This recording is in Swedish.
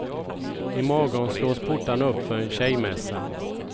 I morgon slås portarna upp för en tjejmässa.